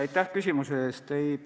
Aitäh küsimuse eest!